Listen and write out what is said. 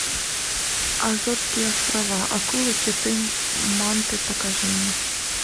азорские острова акулы киты манты покажи мне